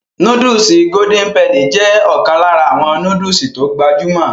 Nóódùsì Golden penny jé ọ̀kan lára àwọn nóódùsì tó gbajúmọ̀